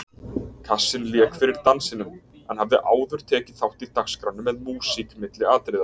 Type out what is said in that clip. Kassinn lék fyrir dansinum en hafði áður tekið þátt í dagskránni með músík milli atriða.